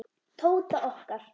Tóta okkar.